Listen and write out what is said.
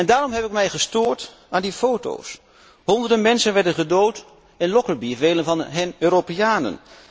En daarom heb ik mij gestoord aan die foto's. Honderden mensen werden gedood in Lockerbie, velen van hen Europeanen.